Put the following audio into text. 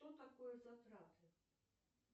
что такое затраты